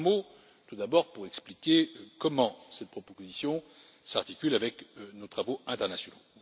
Un mot, tout d'abord, pour expliquer comment cette proposition s'articule avec nos travaux internationaux.